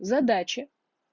задачи